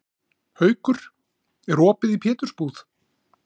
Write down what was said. Haukur, er opið í Pétursbúð?